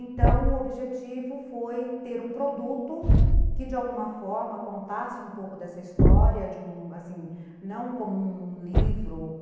Então, o objetivo foi ter um produto que, de alguma forma, contasse um pouco dessa história, de um... assim, não como um livro